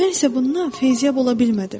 Mən isə bundan feyziyab ola bilmədim.